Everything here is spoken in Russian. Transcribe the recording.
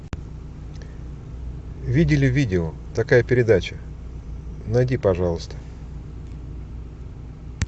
видели видео такая передача найди пожалуйста